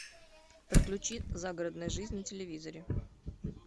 подключи загородная жизнь на телевизоре